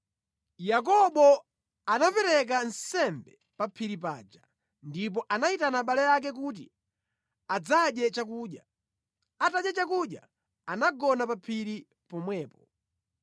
Yakobo anapereka nsembe pa phiri paja, ndipo anayitana abale ake kuti adzadye chakudya. Atadya chakudya anagona pa phiri pomwepo.